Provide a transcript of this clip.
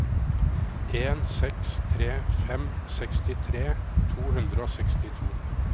en seks tre fem sekstifire to hundre og sekstito